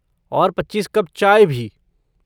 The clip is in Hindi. और पच्चीस कप चाय भी।